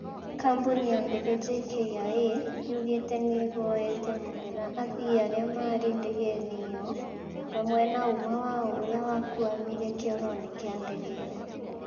Kambuni ya ndege JKIA yugĩte nĩĩhoete mũhera athii arĩa marĩ ndegeini iyo hamwe na ũmwe wao ũria wakuamire kioroinĩ kia ndege ĩyo